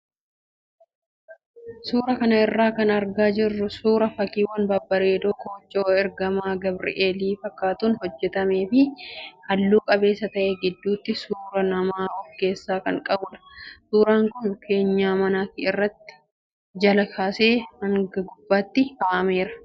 Suuraa kana irraa kan argaa jirru suuraa fakkiiwwan babbareedoo koochoo ergamaa gabreelii fakkaatuun hojjatamee fi hallu qabeessa ta'ee, gidduutti suuraa namaa of keessaa kan qabudha. Suuraan kun keenyan manaa irratti jalaa kaasee hanga gubbaatti kaa'ameera.